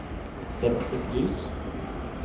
dempet lys